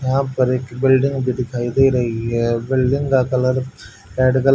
यहां पर एक बिल्डिंग भी दिखाई दे रही है बिल्डिंग का कलर रेड कल--